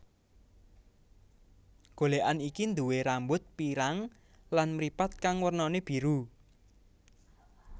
Golékan iki nduwé rambut pirang lan mripat kang wernané biru